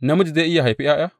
Namiji zai iya haifi ’ya’ya?